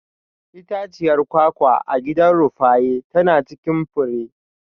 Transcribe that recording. Itaciyar kwakwa a gidan Rufaye tana cikin fure.